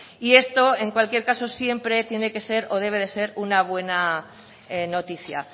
y esto en cualquier caso siempre tiene que ser o debe de ser una buena noticia